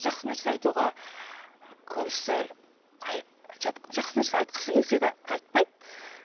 жақсы нәрсе айтуға көбісі жақсы нәрсе айтқысы келсе де айтпайды